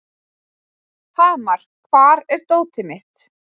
Hamar, hvar er dótið mitt?